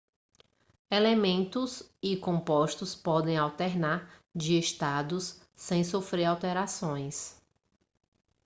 elementos e compostos podem alternar de estados sem sofrer alterações